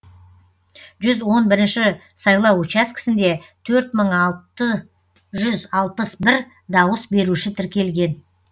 жүз он бірінші сайлау учаскісінде төрт мың алты жүз алпыс бір дауыс беруші тіркелген